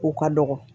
Ko ka dɔgɔ